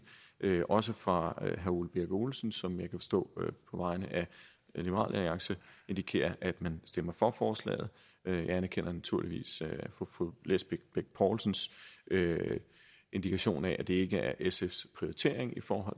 det var det også fra herre ole birk olesen som jeg kan forstå på vegne af liberal alliance indikerer at man stemmer for forslaget jeg anerkender naturligvis fru lisbeth bech poulsens indikation af at det her ikke er sfs prioritering